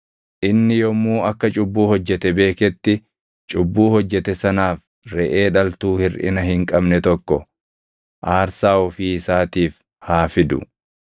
Inni yommuu akka cubbuu hojjete beeketti cubbuu hojjete sanaaf reʼee dhaltuu hirʼina hin qabne tokko aarsaa ofii isaatiif haa fidu.